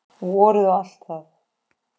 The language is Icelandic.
Vorið og allt það.